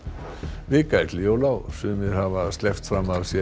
vika er til jóla og sumir hafa sleppt fram af sér